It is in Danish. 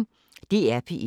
DR P1